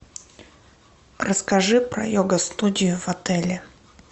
расскажи про йога студию в отеле